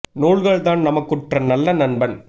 நூல்கள்தாம் நமக்குற்ற நல்ல நண்பன்